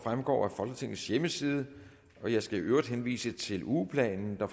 fremgår af folketingets hjemmeside og jeg skal i øvrigt henvise til ugeplanen der